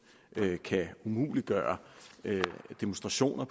kan umuliggøre demonstration af